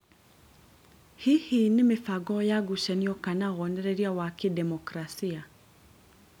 Hihi nĩ mĩbango ya ngucanio kana wonereria wa kĩdemokrasia